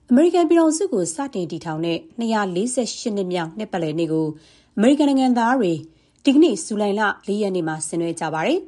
အမေရိကန်ပြည်ထောင်စုကို စတင်တည်ထောင်တဲ့ ၂၄၈ နှစ်မြောက် နှစ်ပတ်လည်နေ့ကို အမေရိကန်နိုင်ငံသားတွေ ဒီကနေ့ (ဇူလိုင်လ ၄ ရက်နေ့မှာ) ဆင်နွှဲကြပါတယ်